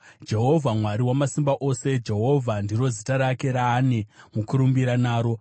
Jehovha Mwari Wamasimba Ose, Jehovha ndiro zita rake raane mukurumbira naro!